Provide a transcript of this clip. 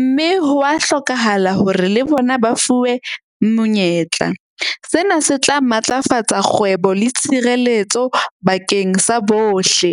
Mme hwa hlokahala hore le bona ba fuwe monyetla. Sena se tla matlafatsa kgwebo le tshireletso bakeng sa bohle.